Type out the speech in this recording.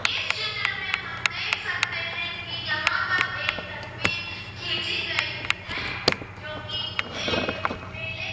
इस चित्र में हम देख सकते है कि यहां पर एक तस्वीर खिंची गई है जो कि एक मेले--